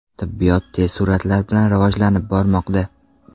Tibbiyot tez sur’atlar bilan rivojlanib bormoqda.